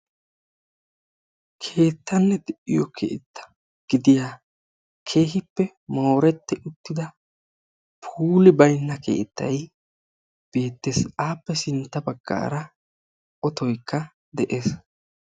Keettanne de'iyoo keetta gidiyaa keehippe mooretti uttida puuli baynna keettay beettees. appe sintta baggaara otoykka beettes.